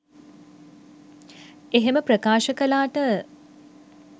එහෙම ප්‍රකාශ කළාට